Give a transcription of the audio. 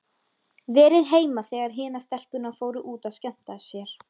Verið heima þegar hinar stelpurnar fóru út að skemmta sér.